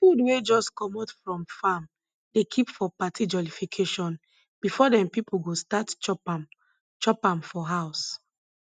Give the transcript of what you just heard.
food wey jus comot from farm dey kip for party jollification before dem pipo go start chop am chop am for house